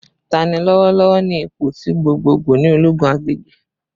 Tani lọwọlọwọ ni ipo ti gbogbogbo ni ologun agbegbe?